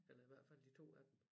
Eller i hvert fald de 2 af dem